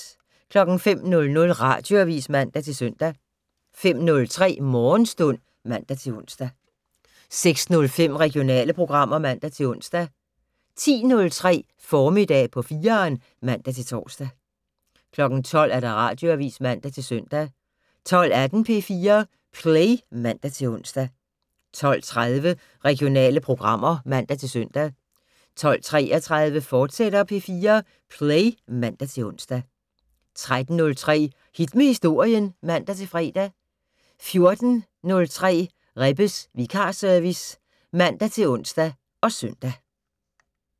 05:00: Radioavis (man-søn) 05:03: Morgenstund (man-ons) 06:05: Regionale programmer (man-ons) 10:03: Formiddag på 4'eren (man-tor) 12:00: Radioavis (man-søn) 12:18: P4 Play (man-ons) 12:30: Regionale programmer (man-søn) 12:33: P4 Play, fortsat (man-ons) 13:03: Hit med Historien (man-fre) 14:03: Rebbes vikarservice (man-ons og søn)